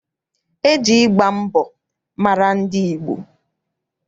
E ji ịgba mbọ mara ndị Igbo.